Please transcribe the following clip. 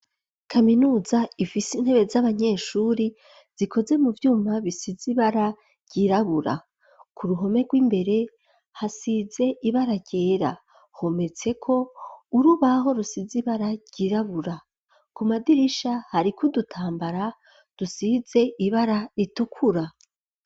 Kaminuza ifise intebe z'abanyeshure zikoze mu vyuma bisize ibara ryirabura ku ruhome rw'imbere hasize ibara ryera hometseko urubaho rusizi ibara ryirabura ku madirisha hari kudutambara dusize ibara ritukura.